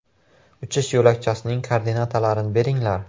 Uchish yo‘lakchasining koordinatalarini beringlar!